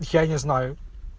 я не знаю